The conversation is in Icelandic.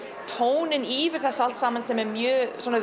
tóninn yfir þetta allt saman sem er mjög svona